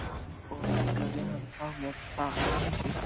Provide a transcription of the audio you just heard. Þá rifnaði hann frá með braki.